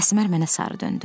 Əsmər mənə sarı döndü.